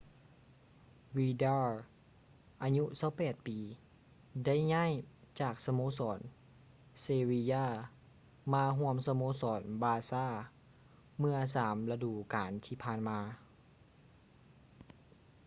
ວີດາລ໌ vidal ອາຍຸ 28 ປີ ໄດ້ຍ້າຍຈາກສະໂມສອນ ເຊວິຢາ sevilla ມາຮ່ວມສະໂມສອນ ບາຊ່າ barça ເມື່ອສາມລະດູການທີ່ຜ່ານມາ